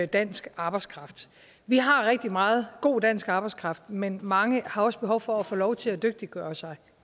dansk arbejdskraft vi har rigtig meget god dansk arbejdskraft men mange har også behov for at få lov til at dygtiggøre sig